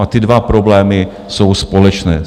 Říkám, ty dva problémy jsou společné.